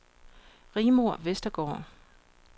Rigmor Westergaard